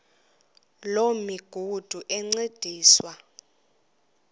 loo migudu encediswa